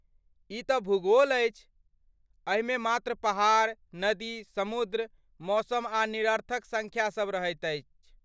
ई तँ भूगोल अछि! एहिमे मात्र पहाड़, नदी, समुद्र, मौसम आ निरर्थक सङ्ख्यासभ रहैत छैक।